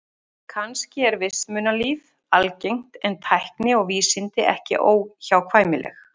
Kannski er vitsmunalíf algengt en tækni og vísindi ekki óhjákvæmileg.